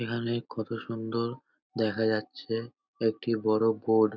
এখানে কত সুন্দর দেখা যাচ্ছে একটি বড় বোর্ড ।